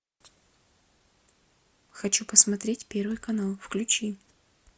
хочу посмотреть первый канал включи